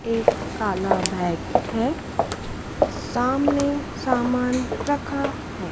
एक काला बैग है सामने सामान रखा है।